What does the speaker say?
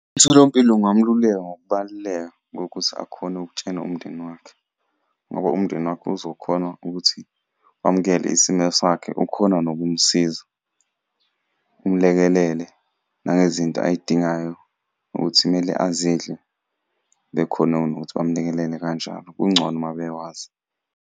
Umtholampilo ungamululeka ngokubaluleka kokuthi akhone ukutshena umndeni wakhe, ngoba umndeni wakhe uzokhona ukuthi wamukele isimo sakhe, ukhona nokumsiza. Umulekelele nangezinto ay'dingayo ukuthi kumele azidle bekhone nokuthi bamulekelele kanjalo, kungcono uma bekwazi.